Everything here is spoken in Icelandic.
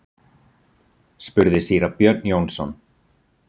spurði síra Björn Jónsson.